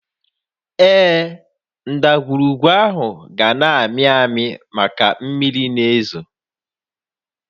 Ee, ndagwurugwu áhụ̀ ga-na ámị́ àmị́ maka na mmiri na-ézò